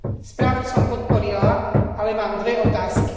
Správu som podporila, ale mám dve otázky.